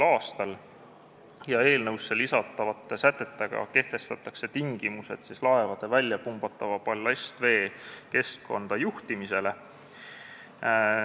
a ja eelnõusse lisatavate sätetega kehtestatakse tingimused laevade väljapumbatava ballastvee keskkonda juhtimisele.